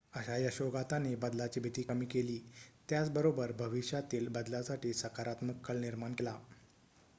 अशा यशोगाथांनी बदलाची भीती कमी केली त्याच बरोबर भविष्यातील बदलासाठी सकारात्मक कल निर्माण केला